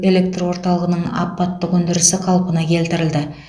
электр орталығының апаттық өндірісі қалпына келтірілді